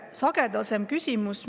Kõnede sisust.